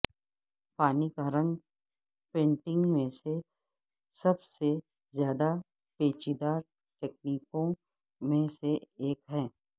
پانی کا رنگ پینٹنگ میں سب سے زیادہ پیچیدہ تکنیکوں میں سے ایک ہے